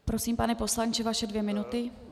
Prosím, pane poslanče, vaše dvě minuty.